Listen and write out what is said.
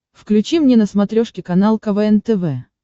включи мне на смотрешке канал квн тв